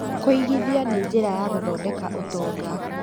Kũigithia nĩ njĩra ya gũthondeka ũtonga.